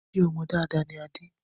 Ṣé ọmọ dáadáa ni Adé